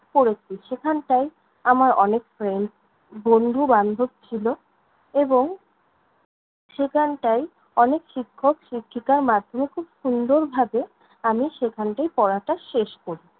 পড়েছি। সেখানটায় আমার অনেক friends বন্ধু-বান্ধব ছিল এবং সেখানটায় অনেক শিক্ষক-শিক্ষিকার মাধ্যমে খুব সুন্দরভাবে আমি সেখানটায় পড়াটা শেষ করি।